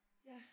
Ja